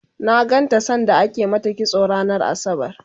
na ganta sanda ake mata kitso ranar asabar